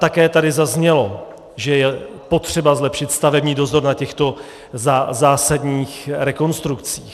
Také tady zaznělo, že je potřeba zlepšit stavební dozor na těchto zásadních rekonstrukcích.